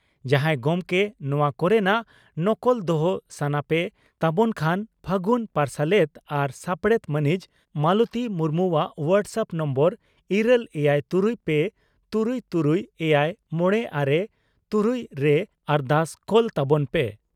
ᱡᱟᱦᱟᱸᱭ ᱜᱚᱢᱠᱮ ᱱᱚᱣᱟ ᱠᱚᱨᱮᱱᱟᱜ ᱱᱚᱠᱚᱞ ᱫᱚᱦᱚ ᱥᱟᱱᱟ ᱯᱮ ᱛᱟᱵᱚᱱ ᱠᱷᱟᱱ ᱯᱷᱟᱹᱜᱩᱱ ᱯᱟᱨᱥᱟᱞᱮᱛ ᱟᱨ ᱥᱟᱯᱲᱮᱛ ᱢᱟᱹᱱᱤᱡ ᱢᱟᱞᱚᱛᱤ ᱢᱩᱨᱢᱩᱣᱟᱜ ᱦᱚᱣᱴᱟᱥᱟᱟᱯ ᱱᱟᱢᱵᱟᱨ ᱤᱨᱟᱹᱞ ᱮᱭᱟᱭ ᱛᱩᱨᱩᱭ ᱯᱮ ᱛᱩᱨᱩᱭ ᱛᱩᱨᱩᱭ ᱮᱭᱟᱭ ᱢᱚᱲᱮ ᱟᱨᱮ ᱛᱩᱨᱩᱭ ᱨᱮ ᱟᱨᱫᱟᱥ ᱠᱳᱞᱛᱟᱵᱚᱱ ᱯᱮ ᱾